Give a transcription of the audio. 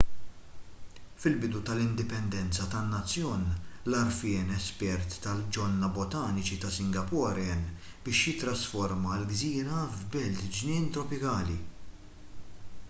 fil-bidu tal-indipendenza tan-nazzjon l-għarfien espert tal-ġonna botaniċi ta' singapore għen biex jittrasforma l-gżira f'belt ġnien tropikali